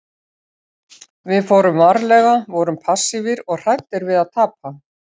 Við fórum varlega, vorum passífir og hræddir við að tapa.